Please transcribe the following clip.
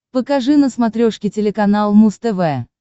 покажи на смотрешке телеканал муз тв